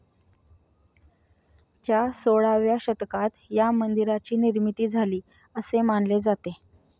च्या सोळाव्या शतकात या मंदिराची निर्मिती झाली, असे मानले जाते.